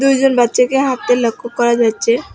দুইজন বাচ্চাকে হাঁটতে লক্ষ্য করা যাচ্ছে।